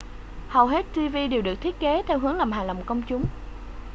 hầu hết tv đều được thiết kế theo hướng làm hài lòng công chúng